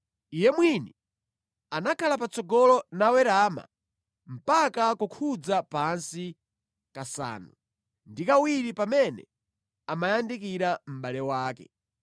Iye mwini anakhala patsogolo nawerama mpaka kukhudza pansi kasanu ndi kawiri pamene amayandikira mʼbale wake.